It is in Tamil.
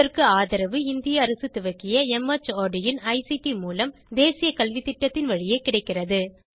இதற்கு ஆதரவு இந்திய அரசு துவக்கிய மார்ட் இன் ஐசிடி மூலம் தேசிய கல்வித்திட்டத்தின் வழியே கிடைக்கிறது